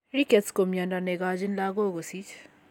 Rickets ko mnyondo negochin lagok kosich